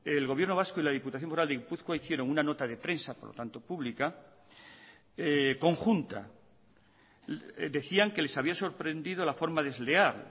el gobierno vasco y la diputación foral de gipuzkoa hicieron una nota de prensa por lo tanto pública conjunta decían que les había sorprendido la forma desleal